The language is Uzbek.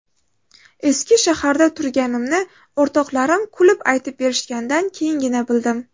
Eski shaharda turganimni o‘rtoqlarim kulib aytib berishganidan keyingina bildim.